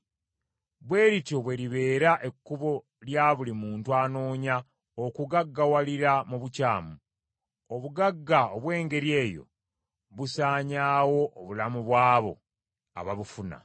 Bwe lityo bwe libeera ekkubo lya buli muntu anoonya okugaggawalira mu bukyamu. Obugagga obw’engeri eyo busaanyaawo obulamu bw’abo ababufuna.